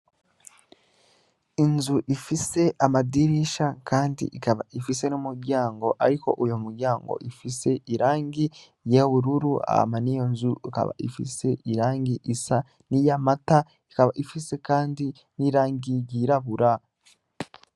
Inzu ifise amadirisha, kandi ikaba ifise n'umuryango, ariko uyo muryango ifise irangi yewururu ama ni yo nzu ikaba ifise irangi isa n'i ya mata ikaba ifise, kandi n'irangiyirabura.